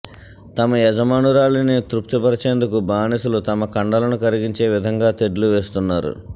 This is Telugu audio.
తమ యజమానురాలిని తృప్తిపరచేందుకు బానిసలు తమ కండలను కరిగించే విధంగా తెడ్లు వేస్తున్నారు